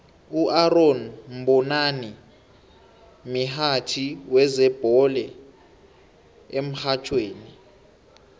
uaaron mbonani mihatjhi wezebhole emrhatjhweni